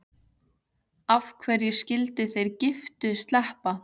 Af hverju skyldu þeir giftu sleppa?